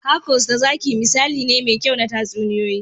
Hercules da zaki misali ne mai kyau na tatsuniyoyi.